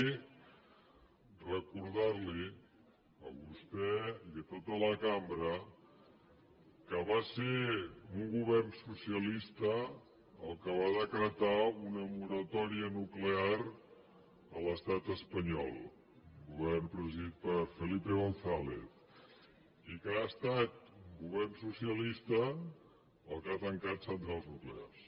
recordar li ho a vostè i a tota la cambra que va ser un govern socialista el que va decretar una moratòria nuclear a l’estat espanyol un govern presidit per felipe gonzález i que ha estat un govern socialista el qui ha tancat centrals nuclears